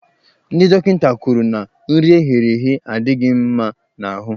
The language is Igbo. Ndị dọkịta kwuru na nri eghere eghe adịghị mma n'ahụ.